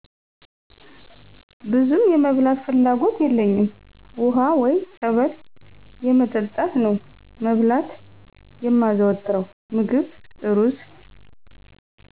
ብዙም የመብላት ፍላጎት የለኝም ውሃ ወይ ፀበል የመጠጣት ነው መብላት የማዘወትረው ምግብ እሩዝ